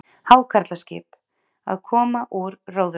Hákarlaskip- að koma úr róðri.